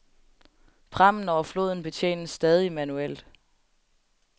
Prammen over floden betjenes stadig manuelt.